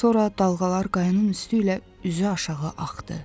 Sonra dalğalar qayanın üstü ilə üzüaşağı axdı.